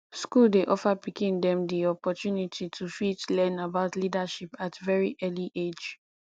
school dey offer pikin dem di opportunity to fit learn about leadership at very early age